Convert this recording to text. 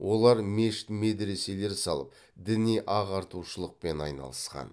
олар мешіт медреселер салып діни ағартушылықпен айналысқан